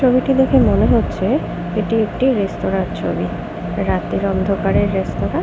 ছবিটি দেখে মনে হচ্ছে এটি একটি রেস্তোরাঁর ছবি। রাতের অন্ধকারে রেস্তোরাঁ ।